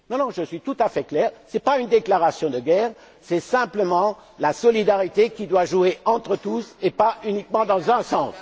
Je suis tout à fait clair, ce n'est pas une déclaration de guerre, c'est simplement la solidarité qui doit jouer entre tous et pas uniquement dans un sens.